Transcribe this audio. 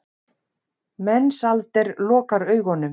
Mensalder lokar augunum.